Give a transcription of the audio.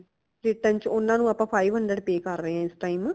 ਇਕ time ਚ ਊਨਾ ਨੂ ਆਪਾ five hundred pay ਕਰ ਰਾਏ ਹਾਂ ਇਸ time